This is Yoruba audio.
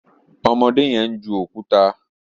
ọmọdé yen ń ju òkúta